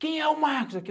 Quem é o Marcos aqui?